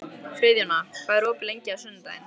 Friðjóna, hvað er opið lengi á sunnudaginn?